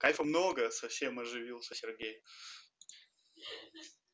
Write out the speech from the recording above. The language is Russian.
кайфа много совсем оживился сергей